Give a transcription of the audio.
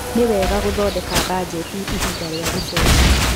Nĩ wega gũthondeka mbanjeti ihinda rĩa gũcera.